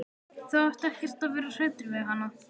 Þú átt ekkert að vera hræddur við hana.